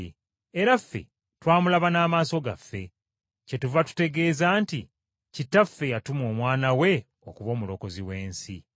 Era ffe twamulaba n’amaaso gaffe, kyetuva tutegeeza nti Kitaffe yatuma Omwana we okuba Omulokozi w’ensi.